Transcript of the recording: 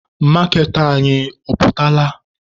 Maaketa anyị ọ pụtala?